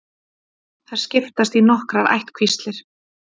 Þær skiptast í nokkrar ættkvíslir.